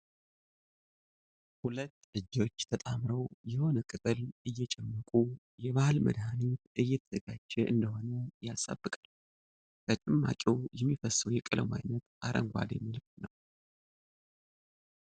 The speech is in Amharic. ሁለት እጆች ተጣምረው የሆነ ቅጠል አሰየጨመቁ ፤ የባሕል መድኃኒት እየተዘጋጀ እንደሆነ ያሳብቃል ። ከጭማቂው የሚፈሰው የቀለሙ አይነት አረንጓዴ መልክ ነው